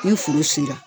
Ni furu sera